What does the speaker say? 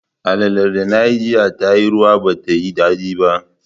Alalar da nayi jiya tayi ruwa ba tayi daɗi ba